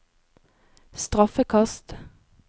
straffekast